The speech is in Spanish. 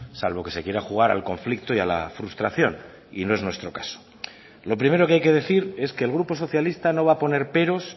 salvo que se quiera jugar al conflicto y a la frustración y no es nuestro caso lo primero que hay que decir es que el grupo socialista no va a poner peros